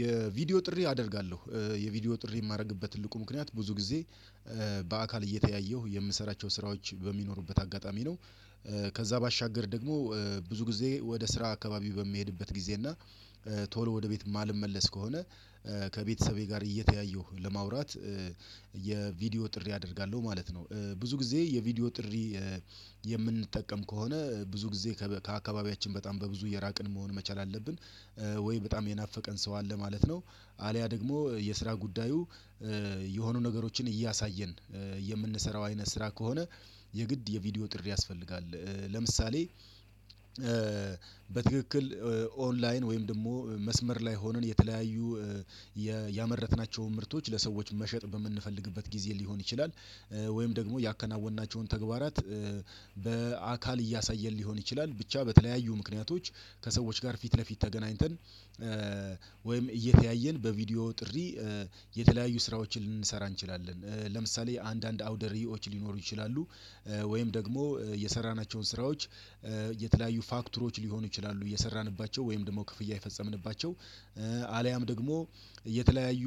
የቪዲዮ ጥሪ አደርጋለሁ የቪዲዮ ጥሪ የማደርግበት ትልቁ ምክንያት ብዙ ጊዜ በአካል እየተያየሁ የምሰራቸው ስራዎች በሚኖሩበት አጋጣሚ ነው። ከዚያ ባሻገር ደግሞ ብዙ ጊዜ ወደ ስራ አካባቢው በሚሄድበት ጊዜ እና ቶሎ ወደ ቤት የማልመለስ ከሆነ ከቤተሰቤ ጋር እየተያየሁ ለማውራት የቪዲዮ ጥሪ አደርጋለሁ ማለት ነው። ብዙ ጊዜ የቪዲዮ ጥሪ የምንጠቀም ከሆነ ብዙ ጊዜ ከአካባቢያችን በጣም በብዙ የራቅን መሆን መቻል አለብን ወይ በጣም የናፈቀን ሰው አለ ማለት ነው። አልያ ደግሞ የስራ ጉዳዩ የሆኑ ነገሮችን እያሳየን የምንሰራው አይነት ስራ ከሆነ የግድ የቪዲዮ ጥሪ ያስፈልጋል። ለምሳሌ በትክክል ኦንላይን ወይም ደግሞ መስመር ላይ ሆነን የተለያዩ ያመረትናቸውን ምርቶች ለሰዎች መሸጥ በምንፈልግበት ጊዜ ሊሆን ይችላል ወይም ደግሞ ያከናወናቸውን ተግባራት በአካል እያሳየን ሊሆን ይችላል ብቻ በተለያዩ ምክንያቶች ከሰዎች ጋር ፊት ለፊት ተገናኝተን ወይም እየተያየን በቪዲዮ ጥሪ የተለያዩ ስራዎችን ልንሰራ እንችላለን። ለምሳሌ አንዳንድ አውደሪዎች ሊኖሩ ይችላሉ ወይም ደግሞ የሰራናቸውን ስራዎች የተለያዩ ፋክተሮች ሊሆኑ ይችላሉ እየሰራንባቸው ወይም ደግሞ ክፍያ የፈጸምንባቸው አልያም ደግሞ የተለያዩ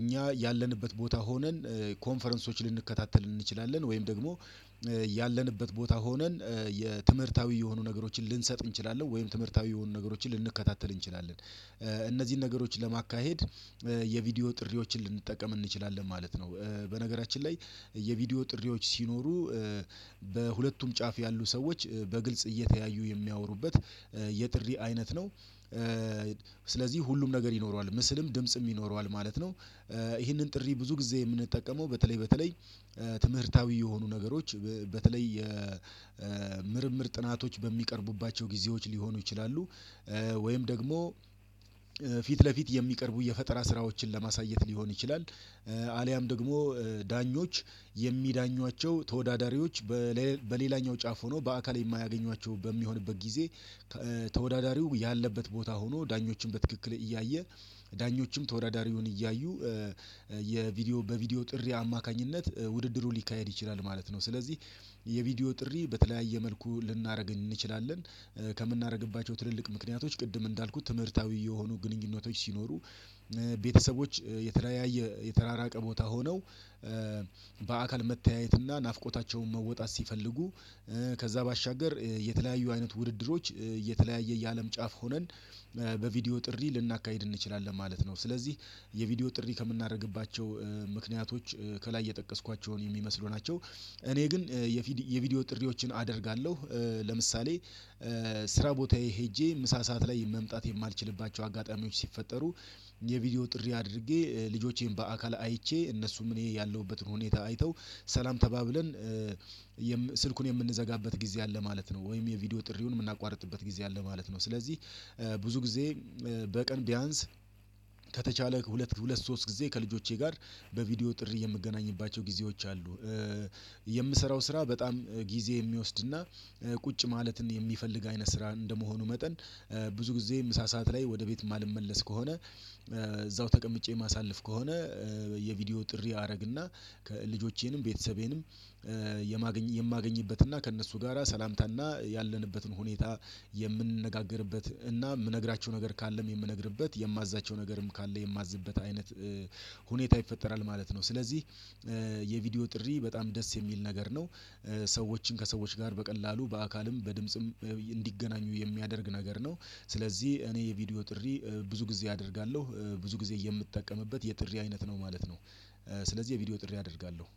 እኛ ያለንበት ቦታ ሆነን ኮንፈረንሶች ልንከታተል እንችላለን ወይም ደግሞ ያለንበት ቦታ ሆነን የትምህርታዊ የሆኑ ነገሮችን ልንሰጥ እንችላለን ወይም ትምህርታዊ የሆኑ ነገሮችን ልንከታተል እንችላለን እነዚህን ነገሮች ለማካሄድ የቪዲዮ ጥሪዎችን ልንጠቀም እንችላለን ማለት ነው። በነገራችን ላይ የቪዲዮ ጥሪዎች ሲኖሩ በሁለቱም ጫፍ ያሉ ሰዎች በግልጽ እየተያዩ የሚያወሩበት የጥሪ አይነት ነው ስለዚህ ሁሉም ነገር ይኖረዋል ምስልም ድምጽም ይኖረዋል ማለት ነው። ይህንን ጥሪ ብዙ ጊዜ የምንጠቀመው በተለይ በተለይ ትምህርታዊ የሆኑ ነገሮች በተለይ የምርምር ጥናቶች በሚቀርቡባቸው ጊዜዎች ሊሆኑ ይችላሉ ወይም ደግሞ ፊት ለፊት የሚቀርቡ የፈጠራ ስራዎችን ለማሳየት ሊሆን ይችላል። አልያም ደግሞ ዳኞች የሚዳኟቸው ተወዳዳሪዎች በሌላኛው ጫፍ ሆኖ በአካል የማያገኟቸው በሚሆንበት ጊዜ ተወዳዳሪው ያለበት ቦታ ሆኖ ዳኞችን በትክክል እያየ ዳኞችም ተወዳዳሪውን እያዩ የቪዲዮ በቪዲዮ ጥሪ አማካኝነት ውድድሩ ሊካሄድ ይችላል ማለት ነው። ስለዚህ የቪዲዮ ጥሪ በተለያየ መልኩ ልናደርገኝ እንችላለን። ከምናደርግባቸው ትልልቅ ምክንያቶች ቅድም እንዳልኩት ትምህርታዊ የሆኑ ግንኙነቶች ሲኖሩ ቤተሰቦች የተለያየ የተራራቀ ቦታ ሆነው በአካል መተያየትና ናፍቆታቸውን መወጣት ሲፈልጉ ከዚያ ባሻገር የተለያዩ አይነት ውድድሮች የተለያየ የአለም ጫፍ ሆነን በቪዲዮ ጥሪ ልናካሂድ እንችላለን ማለት ነው። ስለዚህ የቪዲዮ ጥሪ ከምናደርግባቸው ምክንያቶች ከላይ የጠቀስኳቸውን የሚመስሉ ናቸው። እኔ ግን የቪዲዮ ጥሪዎችን አደርጋለሁ ለምሳሌ ስራ ቦታዬ ሄጄ ምሳ ሰዓት ላይ መምጣት የማልችልባቸው አጋጣሚዎች ሲፈጠሩ የቪዲዮ ጥሪ አድርጌ ልጆቼን በአካል አይቼ እነሱም እኔ ያለሁበትን ሁኔታ አይተው ሰላም ተባብለን ስልኩን የምንዘጋበት ጊዜ አለ ማለት ነው። ወይም የቪዲዮ ጥሪውን የምናቋርጥበት ጊዜ አለ ማለት ነው። ስለዚህ ብዙ ጊዜ በቀን ቢያንስ ከተቻለ ሁለት ሁለት ሶስት ጊዜ ከልጆቼ ጋር በቪዲዮ ጥሪ የምገናኝባቸው ጊዜዎች አሉ። የምሰራው ስራ በጣም ጊዜ የሚወስድና ቁጭ ማለትን የሚፈልግ አይነት ስራ እንደመሆኑ መጠን ብዙ ጊዜ ምሳ ሰዓት ላይ ወደ ቤት የማልመለስ ከሆነ እዛው ተቀምጬ ማሳለፍ ከሆነ የቪዲዮ ጥሪ አደርግና ልጆቼንም ቤተሰቤንም የማገኝ የማገኝበትና ከእነሱ ጋራ ሰላምታና ያለንበትን ሁኔታ የምንነጋገርበት እና የምነግራቸው ነገር ካለም የምነግርበት የማዛቸው ነገርም ካለ የማዝበት አይነት ሁኔታ ይፈጠራል ማለት ነው። ስለዚህ የቪዲዮ ጥሪ በጣም ደስ የሚል ነገር ነው። ሰዎችን ከሰዎች ጋር በቀላሉ በአካልም በድምጽም እንዲገናኙ የሚያደርግ ነገር ነው። ስለዚህ እኔ የቪዲዮ ጥሪ ብዙ ጊዜ አደርጋለሁ ብዙ ጊዜ የምጠቀምበት የጥሪ አይነት ነው ማለት ነው። ስለዚህ የቪዲዮ ጥሪ አደርጋለሁ